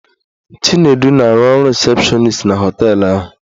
Chinedu na-arụ ọrụ rịsepshọnis na họteelụ ahụ.